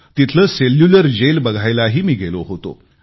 तिथले Cellular Jail बघायलाही गेलो होतो